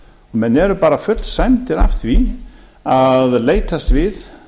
menn eru bara fullsæmdir af því að leitast við